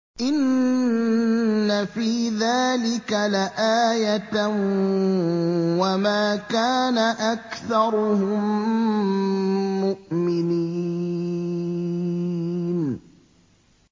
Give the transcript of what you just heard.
إِنَّ فِي ذَٰلِكَ لَآيَةً ۖ وَمَا كَانَ أَكْثَرُهُم مُّؤْمِنِينَ